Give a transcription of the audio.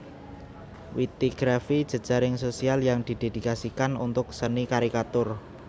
Wittygraphy jejaring sosial yang didedikasikan untuk seni karikatur